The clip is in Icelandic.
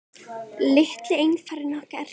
Litli einfarinn okkar.